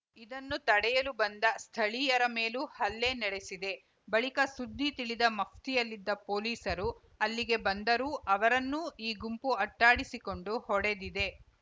ಇದನ್ನು ತಡೆಯಲು ಬಂದ ಸ್ಥಳೀಯರ ಮೇಲೂ ಹಲ್ಲೆ ನಡೆಸಿದೆ ಬಳಿಕ ಸುದ್ದಿ ತಿಳಿದ ಮಫ್ತಿಯಲ್ಲಿದ್ದ ಪೊಲೀಸರು ಅಲ್ಲಿಗೆ ಬಂದರೂ ಅವರನ್ನೂ ಈ ಗುಂಪು ಅಟ್ಟಾಡಿಸಿಕೊಂಡು ಹೊಡೆದಿದೆ